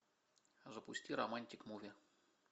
запусти романтик муви